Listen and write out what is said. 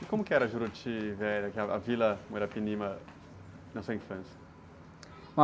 E como era Juruti Velho, a aquela, a Vila Muirapinima na sua infância?